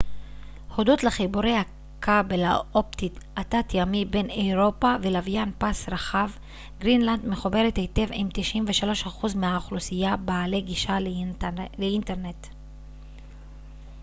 הודות לחיבורי הכבל האופטי התת-ימי בין אירופה ולוויין פס רחב גרינלנד מחוברת היטב עם 93% מהאוכלוסייה בעלי גישה לאינטרנט